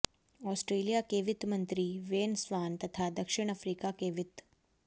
Australia के वित्त मंत्री वेन स्वान तथा दक्षिण अफ्रीका के वित्त